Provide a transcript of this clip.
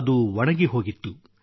ಅದು ಒಣಗಿಹೋಗಿತ್ತು